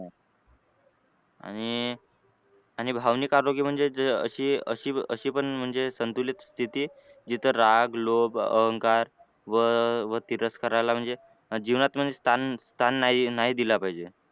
आणि आणि भावनिक आरोग्य म्हणजे अशी अशी अशी पण संतुलित स्थिती जिथे राग, लोभ, अहंकार व तिरस्कारला म्हणजे जीवनात म्हणजे स्थान स्थान नाही दिला पाहिजे.